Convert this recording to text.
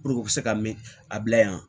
u bɛ se ka mɛn a bila yan